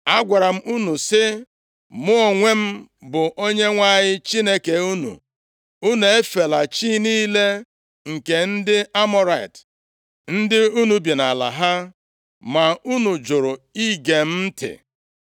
Agwara m unu sị, ‘Mụ onwe m bụ Onyenwe anyị Chineke unu. Unu efela chi niile nke ndị Amọrait, ndị unu bi nʼala ha.’ Ma unu jụrụ ige m ntị.”